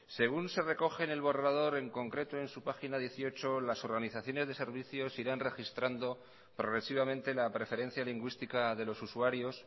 según se recoge en el borrador en concreto en su página dieciocho las organizaciones de servicios irán registrando progresivamente la preferencia lingüística de los usuarios